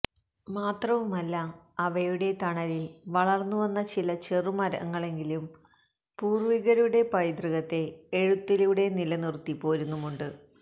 മാത്രവുമല്ല അവയുടെ തണലില് വളര്ന്നുവന്ന ചില ചെറുമരങ്ങളെങ്കിലും പൂര്വികരുടെ പൈതൃകത്തെ എഴുത്തിലൂടെ നിലനിറുത്തി പോരുന്നുമുണ്ട്